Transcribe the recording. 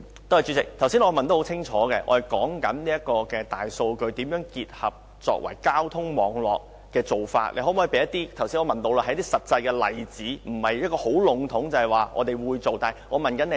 代理主席，剛才我清楚詢問局長，大數據如何結合交通網絡，局長可否提供一些實際的例子，而不是很籠統地要說會做，我是問如何做。